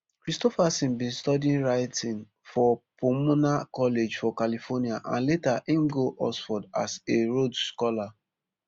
kristofferson bin study writing for pomona college for california and later im go oxford as a rhodes scholar